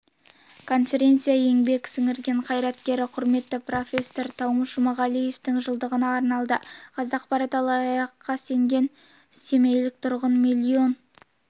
конференция еңбек сіңірген қайраткері құрметті профессор таумыш жұмағалиевтің жылдығына арналды қазақпарат алаяққа сенген семейлік тұрғын миллион